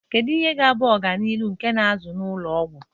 Kedu ihe ga-abụ ọganihu nkà na ụzụ na ụlọ ọgwụ?